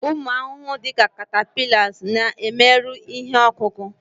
ụmụ ahụhụ dị ka catapillars na-emerụ ihe ọkụkụ